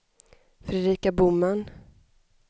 Fredrika Boman